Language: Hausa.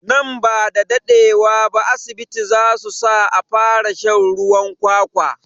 Nan bada daɗe wa ba asibiti zasu sa a fara shan ruwan kwakwa